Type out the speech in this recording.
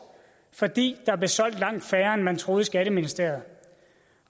fordi der blev solgt langt færre end man troede i skatteministeriet